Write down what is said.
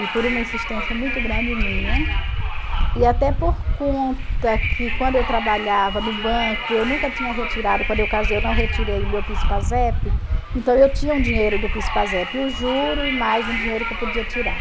e por uma insistência muito grande minha, e até por conta que quando eu trabalhava no banco, eu nunca tinha retirado, quando eu casei eu não retirei o meu, então eu tinha um dinheiro do, o juro, e mais um dinheiro que eu podia tirar.